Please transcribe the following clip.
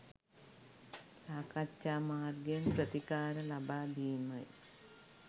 සාකච්ඡා මාර්ගයෙන් ප්‍රතිකාර ලබාදීමයි.